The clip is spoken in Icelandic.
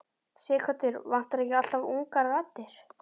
Sighvatur: Vantar ekki alltaf ungar raddir?